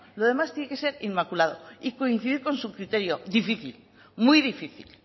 lo demás tiene que ser inmaculado y coincidir con su criterio difícil muy difícil